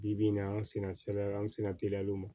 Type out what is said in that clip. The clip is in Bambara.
Bi bi in na an sera sɛbɛn an sera teliyaw ma